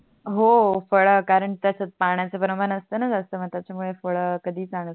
हो फड कारण कस पाण्याचे प्रमाण असतोणा जास्त म्हणून त्याच्या मूळे कधीच आणते